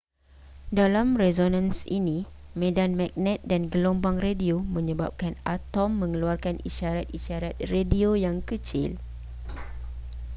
dalam resonans ini medan magnet dan gelombang radio menyebabkan atom mengeluarkan isyarat-isyarat radio yang kecil